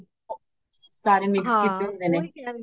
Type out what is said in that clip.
ਸਾਰੇ mix ਕੀਤੇ ਹੋਂਦੇ ਨੇ